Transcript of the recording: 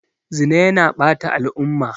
Zina yana ɓata al'umma.